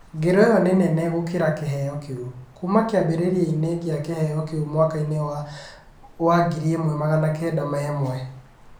Ngero ĩyo nĩ nene gokora kĩheo kĩu .kuuma kĩambĩrĩria-inĩ kĩa kĩheo kĩu mwaka-inĩ wa 1901.